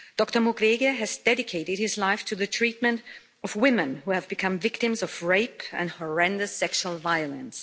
Dr Mukwege has dedicated his life to the treatment of women who have become victims of rape and horrendous sexual violence.